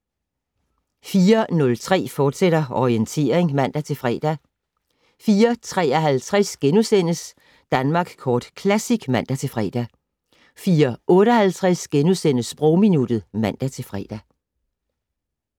04:03: Orientering, fortsat (man-fre) 04:53: Danmark Kort Classic *(man-fre) 04:58: Sprogminuttet *(man-fre)